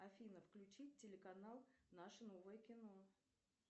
афина включить телеканал наше новое кино